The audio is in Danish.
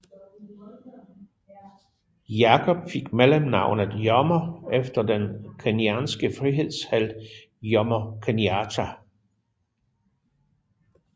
Jacob fik mellemnavnet Jomo efter den kenyanske frihedshelt Jomo Kenyatta